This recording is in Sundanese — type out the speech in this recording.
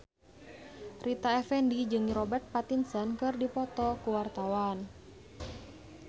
Rita Effendy jeung Robert Pattinson keur dipoto ku wartawan